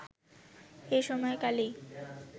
এই সময় কালেই